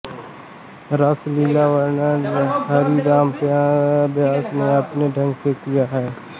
रासलीला का वर्णन हरिराम व्यास ने अपने ढंग से किया है